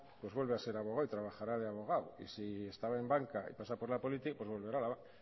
vuelve a ser abogado y trabajará de abogado y si estaba en banca y pasa por la política pues volverá a la banca